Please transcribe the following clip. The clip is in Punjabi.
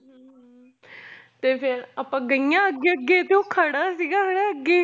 ਤੇ ਫਿਰ ਆਪਾਂ ਗਈਆਂ ਅੱਗੇ ਅੱਗੇ ਤੇ ਉਹ ਖੜਾ ਸੀਗਾ ਹੈਂ ਅੱਗੇ